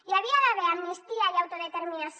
hi havia d’haver amnistia i autodeterminació